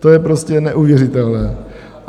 To je prostě neuvěřitelné.